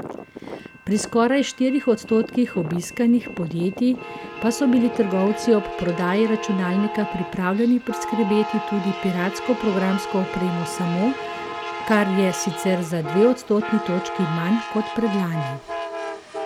Pri skoraj štirih odstotkih obiskanih podjetij pa so bili trgovci ob prodaji računalnika pripravljeni priskrbeti tudi piratsko programsko opremo samo, kar je sicer za dve odstotni točki manj kot predlani.